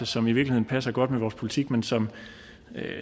som i virkeligheden passer godt med vores politik men som